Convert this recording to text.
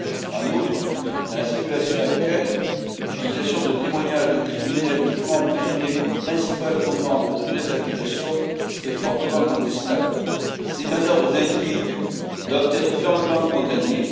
En outre, dans la situation actuelle, l'utilisation de témoignages de criminels toujours emprisonnés comme principal fondement pour de telles accusations est fortement contestable. Ces manœuvres indignes doivent être fermement condamnées.